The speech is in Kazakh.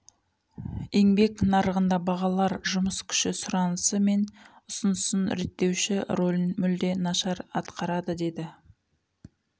еңбек нарығында бағалар жұмыс күші сұранысы мен ұсынысын реттеуші рөлін мүлде нашар атқарады деді